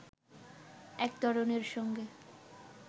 এক তরুণীর সঙ্গে